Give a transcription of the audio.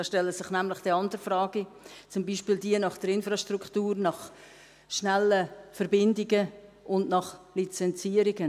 da stellen sich nämlich andere Fragen, zum Beispiel jene nach der Infrastruktur, nach schnellen Verbindungen und nach Lizenzierungen.